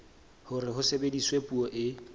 hore ho sebediswe puo e